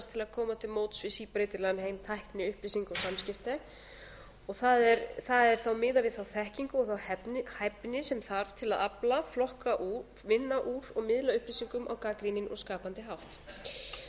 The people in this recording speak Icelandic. annars til að koma til móts við síbreytilegan heim tækni upplýsinga og samskipti það er þá miðað við þá þekkingu og hæfni sem þarf til að afla flokka úr vinna úr og miðla upplýsingum á gagnrýninn og skapandi hátt